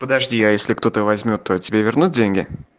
подожди я если кто-то возьмёт то тебе вернут деньги